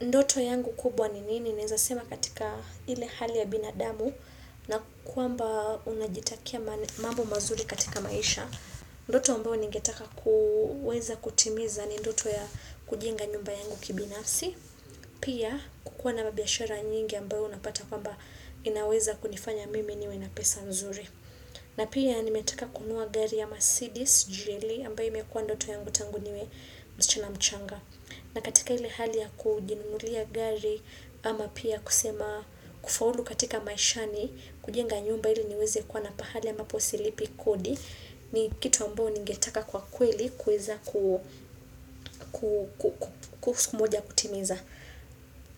Ndoto yangu kubwa ni nini naweza sema katika ile hali ya binadamu na kwamba unajitakia mambo mazuri katika maisha. Ndoto ambayo ningetaka kuweza kutimiza ni ndoto ya kujenga nyumba yangu kibinasi. Pia kukuwa na mabiashara nyingi ambayo unapata kwamba inaweza kunifanya mimi niwe na pesa nzuri. Na pia nimetaka kununua gari ya Mercedes, GLE ambayo imekua ndoto yangu tangu niwe msichana mchanga. Na katika ile hali ya kujinunulia gari ama pia kusema kufaulu katika maishani kujenga nyumba ili niweze kuwa na pahali ambapo silipi kodi ni kitu ambayo ningetaka kwa kweli kuweza ku siku moja kutimiza.